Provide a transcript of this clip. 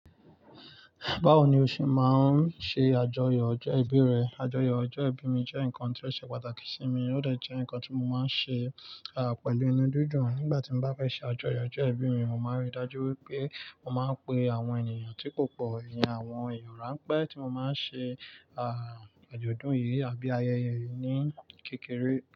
Báwo ni o ṣe máa ń ṣe àjọyọ̀ ọjọ́ ìbí rẹ? Àjọyọ̀ ọjọ́ ìbí mi jẹ́ nǹkan tí ó ṣe pàtàkì sí mi, ó dẹ̀ jẹ́ nǹkan tí mo máa ń ṣe, à, pẹ̀lú inú dúdú ńlá. Nígbà tí mo bá fẹ́ ṣe àjọyọ̀ ọjọ́ ìbí mi, mo máa ríi dájú wípé mo máa ń pe àwọn ènìyàn tí kò pọ̀, ìyẹn àwọn ìyọ̀rá pẹ́ tí mo máa ń ṣe, àà, àjọ̀dún yìí àbí ayẹyẹ yìí ní kékeré.